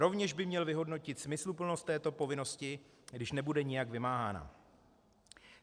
Rovněž by měl vyhodnotit smysluplnost této povinnosti, když nebude nijak vymáhána.